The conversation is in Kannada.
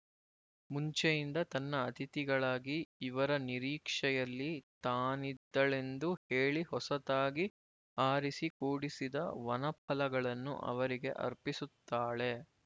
ಮುಂಚೆಯಿಂದ ತನ್ನ ಅತಿಥಿಗಳಾಗಿ ಇವರ ನಿರೀಕ್ಷೆಯಲ್ಲಿ ತಾನಿದ್ದಳೆಂದು ಹೇಳಿ ಹೊಸತಾಗಿ ಆರಿಸಿ ಕೂಡಿಸಿದ ವನಫಲಗಳನ್ನು ಅವರಿಗೆ ಅರ್ಪಿಸುತ್ತಾಳೆ